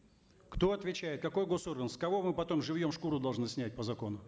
кто отвечает какой госорган с кого мы потом живьем шкуру должны снять по закону